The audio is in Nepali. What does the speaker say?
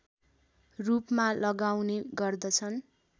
रूपमा लगाउने गर्दछन्